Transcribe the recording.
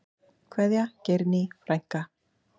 Kveðja, Geirný frænka.